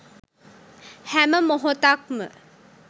හැම මොහොතක්ම